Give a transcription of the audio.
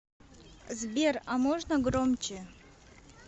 сбер а можно громче